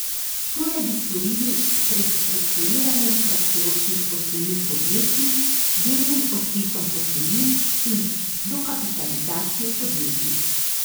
To naj bi storili s prestrukturiranjem kratkoročnih posojil podjetij, delnim odpisom posojil in dokapitalizacijo podjetij.